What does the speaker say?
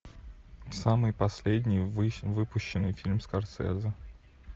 самый последний выпущенный фильм скорсезе